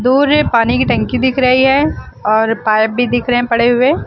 दूर में पानी की टंकी दिख रही है और पाइप भी दिख रहे हैं पड़े हुए।